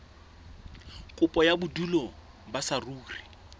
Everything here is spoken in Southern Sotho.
kopo ya bodulo ba saruri